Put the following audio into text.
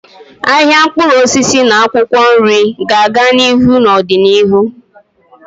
Ahịa mkpụrụ osisi na akwụkwọ nri ga-aga n'ihu n'ọdịnihu.